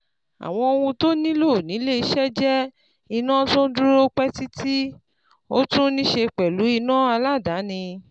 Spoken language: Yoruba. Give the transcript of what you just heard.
Àwọn ohun tó nílò ní ilé iṣẹ́ jẹ́ iná tó n dúró pẹ́ títí, ó tún níse pẹ̀lú iná aládàáni